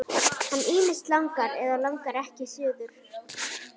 Hann ýmist langar eða langar ekki suður.